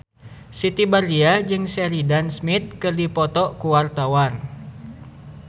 Siti Badriah jeung Sheridan Smith keur dipoto ku wartawan